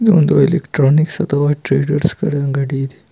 ಇದು ಒಂದು ಎಲೆಕ್ಟ್ರಾನಿಕ್ಸ್ ಅಥವಾ ಟ್ರೇಡರ್ಸ್ ಗಳ ಅಂಗಡಿ ಇದೆ.